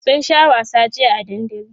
sun Sha wasa jiya a dandali